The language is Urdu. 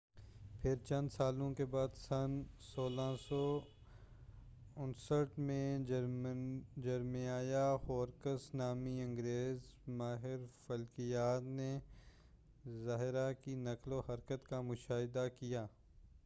پھر، چند سالوں کے بعد، سن 1639 میں، جرمیاہ ہورکس نامی انگریز ماہر فلکیات نے زہرہ کی نقل و حرکت کا مشاہدہ کیا۔